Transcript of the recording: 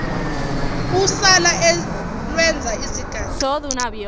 usala olwenza izigaxa